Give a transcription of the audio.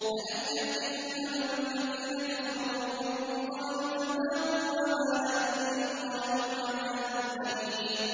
أَلَمْ يَأْتِكُمْ نَبَأُ الَّذِينَ كَفَرُوا مِن قَبْلُ فَذَاقُوا وَبَالَ أَمْرِهِمْ وَلَهُمْ عَذَابٌ أَلِيمٌ